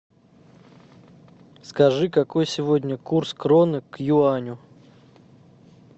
скажи какой сегодня курс кроны к юаню